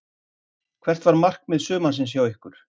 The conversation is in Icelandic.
Hvert var markmið sumarsins hjá ykkur?